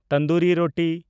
tandoori ᱨᱳᱴᱤ